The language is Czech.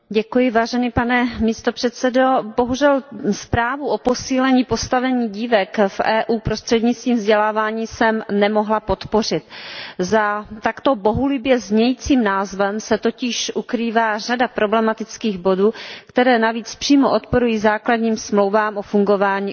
Pane předsedající, bohužel, zprávu o posílení postavení dívek v EU prostřednictvím vzdělávání jsem nemohla podpořit. Za takto bohulibě znějícím názvem se totiž ukrývá řada problematických bodů, které navíc přímo odporují základním Smlouvám o fungování Unie.